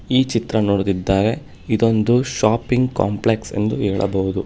ಈ ಚಿತ್ರ ನೋಡುತ್ತಿದ್ದಾರೆ ಇದೊಂದು ಶಾಪಿಂಗ್ ಕಾಂಪ್ಲೆಕ್ಸ್ ಎಂದು ಹೇಳಬಹುದು.